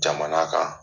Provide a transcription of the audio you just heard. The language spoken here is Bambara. Jamana kan